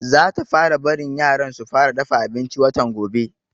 Zata fara barin yaran su fara dafa abinci watan gobe